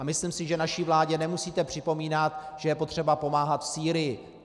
A myslím si, že naší vládě nemusíte připomínat, že je potřeba pomáhat v Sýrii.